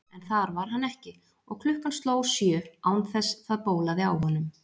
En þar var hann ekki, og klukkan sló sjö án þess það bólaði á honum.